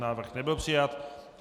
Návrh nebyl přijat.